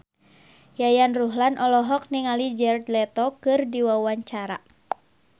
Yayan Ruhlan olohok ningali Jared Leto keur diwawancara